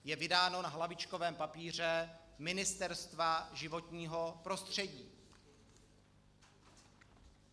Je vydáno na hlavičkovém papíře Ministerstva životního prostředí.